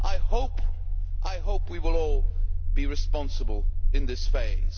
I hope we will all be responsible in this phase.